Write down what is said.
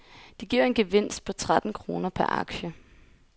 Det giver en gevinst på tretten kroner per aktie.